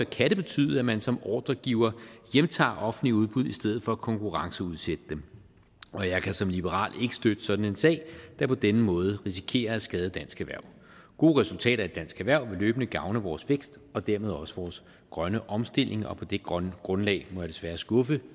kan det betyde at man som ordregiver hjemtager offentlige udbud i stedet for at konkurrenceudsætte dem og jeg kan som liberal ikke støtte sådan en sag der på denne måde risikerer at skade dansk erhverv gode resultater i dansk erhverv vil løbende gavne vores vækst og dermed også vores grønne omstilling og på det grundlag grundlag må jeg desværre skuffe